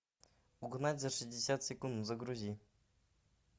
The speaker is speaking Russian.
угнать за шестьдесят секунд загрузи